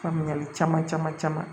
Faamuyali caman caman caman